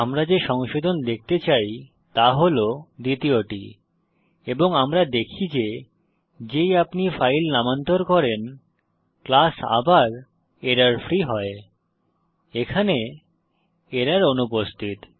আমরা যে সংশোধন দেখতে চাই তা হল দ্বিতীয়টি এবং আমরা দেখি যে যেই আপনি ফাইল নামান্তর করেন ক্লাস আবার এররফ্রি হয় এখানে এরর অনুপস্থিত